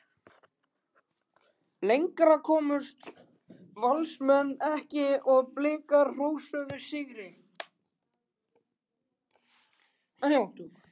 Lengra komust Valsmenn ekki og Blikar hrósuðu sigri.